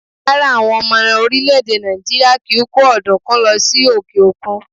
Rárá, àwọn ọmọ orílẹ̀-èdè Nàìjíríà kì í kó ọ̀dùnkún lọ sí òkè òkun.